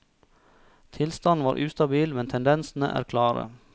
Tilstanden var ustabil, men tendensene klare.